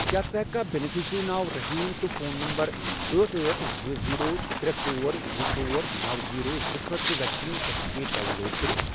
کیٛاہ ژٕ ہیککھا بینِفیشرِی ناو رٔحیٖم تہٕ فون نمبر أٹھ، أٹھ، زٕ، زیٖرو، ترے، ژور، زٕ، ژور، نوَ، زیٖرو، زٕ خٲطرٕ ویکسیٖن سرٹِفکیٹ ڈاؤن لوڈ کٔرِتھ؟